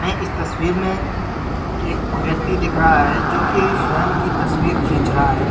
इस तस्वीर में एक व्यक्ति दिख रहा है जो कि स्वयं की तस्वीर खींच रहा है उस--